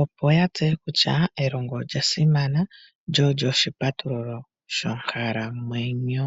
opo ya tseye kutya elongo olya simana lyo olyo oshipatululo sho nkalamwenyo.